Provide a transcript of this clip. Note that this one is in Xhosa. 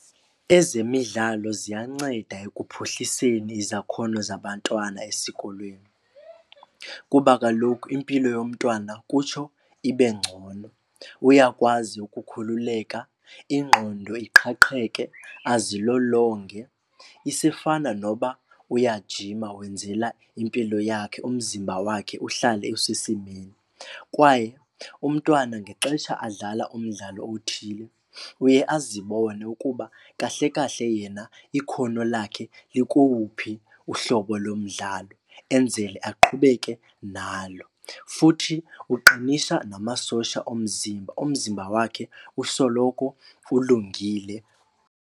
Ezemidlalo ziyanceda ekuphuhliseni izakhono zabantwana esikolweni kuba kaloku impilo yomntwana kutsho ibe ngcono. Uyakwazi ukukhululeka, ingqondo iqhaqheke, azilolonge isifana noba uyajima wenzela impilo yakhe umzimba wakhe uhlale usesimeni. Kwaye umntwana ngexesha adlala umdlalo othile uye azibone ukuba kahle kahle yena ikhono lakhe likowuphi uhlobo lomdlalo enzele aqhubeke nalo. Futhi uqinisa namasosha omzimba, umzimba wakhe usoloko ulungile.